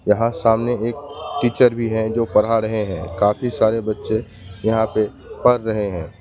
यहां सामने एक टीचर भी है जो पढ़ा रहे हैं काफी सारे बच्चे यहां पे पढ़ रहे हैं।